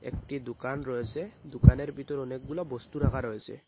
একটি দুকান রয়েসে দুকানের বিতর অনেকগুলো বস্তু রাখা রয়েসে।